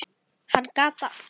Hann gat allt.